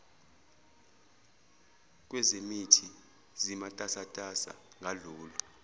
kwezemithi zimatasatasa ngalolu